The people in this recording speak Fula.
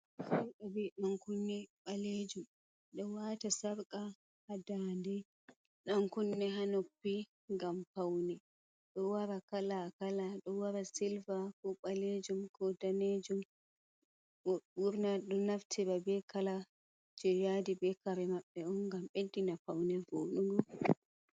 Habe dan kunne balejum, do wata sarka hadade dan kunne hanoppi ngam paune do wara kala a kala do wara silva ko balejum ko danejum burna do naftira ba be kala jeyadi be kare mabbe on ngam beddina paune bodugo.